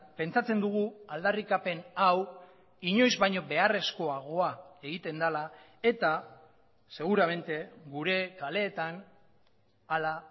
pentsatzen dugu aldarrikapen hau inoiz baino beharrezkoagoa egiten dela eta seguramente gure kaleetan ala